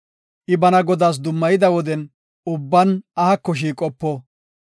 I bana Godaas dummayida woden ubban ahako shiiqopo.